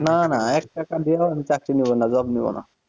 না না এক টাকা দিয়ে আমি চাকরি নেব না job নেব না,